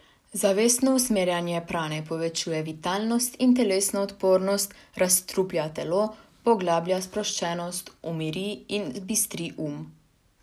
Zavestno usmerjanje prane povečuje vitalnost in telesno odpornost, razstruplja telo, poglablja sproščenost, umiri in bistri duh.